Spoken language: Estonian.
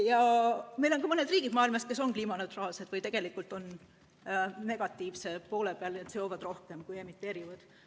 Ja on ka mõni riik maailmas, kes juba on kliimaneutraalne või tegelikult on lausa negatiivse poole peal, seovad rohkem, kui emiteerivad.